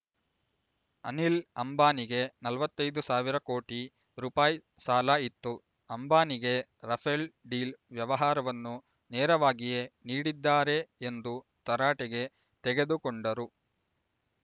ಅನಿಲ್ ಅಂಬಾನಿಗೆ ನಲವತೈದು ಸಾವಿರ ಕೋಟಿ ರೂಪಾಯಿ ಸಾಲ ಇತ್ತು ಅಂಬಾನಿಗೆ ರಫೇಲ್ ಡೀಲ್ ವ್ಯವಹಾರವನ್ನು ನೆರವಾಗಿಯೇ ನೀಡಿದ್ದಾರೆ ಎಂದು ತರಾಟೆಗೆ ತೆಗೆದು ಕೊಂಡರು